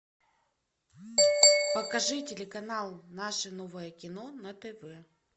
покажи телеканал наше новое кино на тв